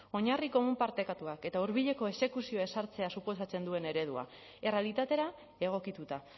oinarri komun partekatuak eta hurbileko exekuzioa ezartzea suposatzen duen eredua errealitatera egokituta